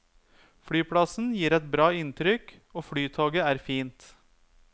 Flyplassen gir et bra inntrykk og flytoget er fint.